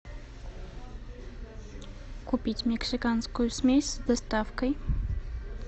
купить мексиканскую смесь с доставкой